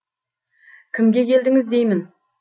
кімге келдіңіз деймін